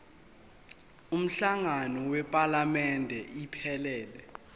umhlangano wephalamende iphelele